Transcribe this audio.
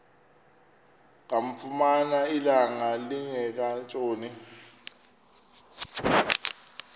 kamfumana ilanga lingekatshoni